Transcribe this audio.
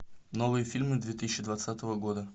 новые фильмы две тысячи двадцатого года